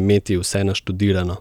imeti vse naštudirano.